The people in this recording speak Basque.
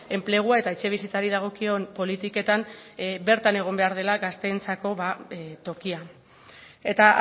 enplegua eta etxebizitzari dagokion politiketan bertan egon behar dela gazteentzako tokia eta